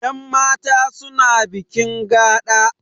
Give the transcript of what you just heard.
Yan mata suna bikin gaɗa